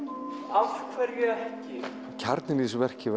af hverju ekki kjarninn í þessu verki